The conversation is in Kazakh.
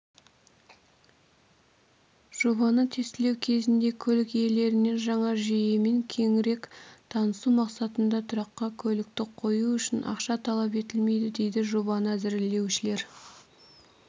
жобаны тестілеу кезінде көлік иелерінен жаңа жүйемен кеңірек танысу мақсатында тұраққа көлікті қою үшін ақша талап етілмейді дейді жобаны әзірлеушілер